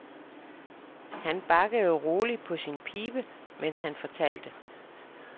Han bakkede roligt på sin pibe, mens han fortalte.